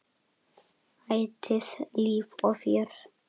Ætíð líf og fjör.